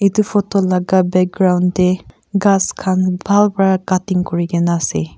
etu photo laka background dae kas kan bhal vra cutting kurina kina ase.